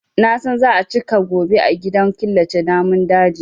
Na san za a cika gobe a gidan killace namun daji.